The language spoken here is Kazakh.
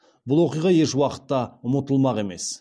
бұл оқиға еш уақытта ұмытылмақ емес